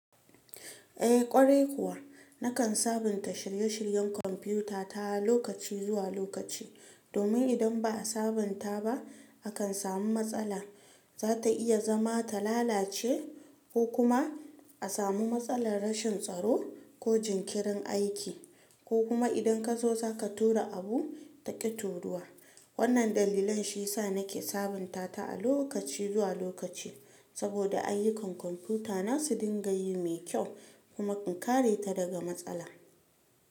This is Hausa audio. Eh ƙwarai kuwa nakan sabunta shirye-shiryen kwamfutata lokaci zuwa lokaci domin idan ba a sabunta ba akan samu matsala. Zata iya zama ta lalace ko kuma a samu matsalar rashin tsaro ko jinkirin aiki ko kuma idan ka zo zaka tura abu ta ƙi turuwa. Wannan dalilan shi ya sa nake sabunta ta a lokaci zuwa lokaci saboda ayyukan kwamfutana su dinga yi mai kyau kuma in kare ta daga matsala.